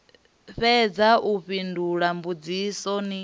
fhedza u fhindula mbudziso ni